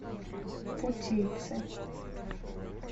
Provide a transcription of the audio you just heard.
путейцы